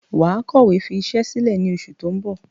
Wàá kọ̀wé fi isẹ́ sílẹ̀ ní oṣù ti ń bò